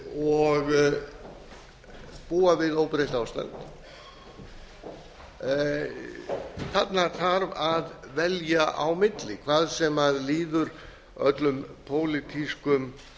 og búa við óbreytt ástand þarna þarf að velja á milli hvað sem líður öllum pólitískum